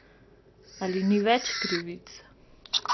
Ali ni več krivic?